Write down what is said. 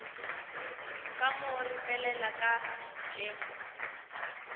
ka mo ripelela ka pitšeng